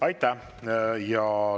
Aitäh!